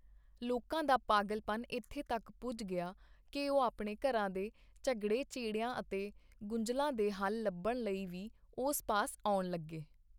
ਲੋਕਾਂ ਦਾ ਪਾਗਲਪਨ ਇਥੇ ਤੱਕ ਪੁੱਜ ਗਿਆ ਕਿ ਉਹ ਆਪਣੇ ਘਰਾਂ ਦੇ ਝਗੜਿਆਂ ਝੇੜਿਆਂ ਅਤੇ ਗੁੰਝਲਾਂ ਦੇ ਹੱਲ ਲੱਭਣ ਲਈ ਵੀ ਉਸ ਪਾਸ ਆਉਣ ਲੱਗੇ।